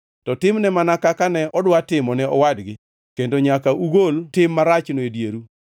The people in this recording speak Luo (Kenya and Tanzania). to timne mana kaka ne odwa timo ne owadgi kendo nyaka ugol tim marachno e dieru.